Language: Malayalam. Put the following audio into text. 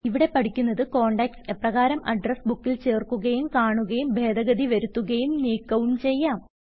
ഇവിടെ പഠിക്കുന്നത് കോണ്ടാക്റ്റ്സ് എപ്രകാരം അഡ്രസ് ബുക്കിൽ ചേർക്കുകയും കാണുകയും ഭേദഗതി വരുത്തുകയും നീക്കവും ചെയ്യാം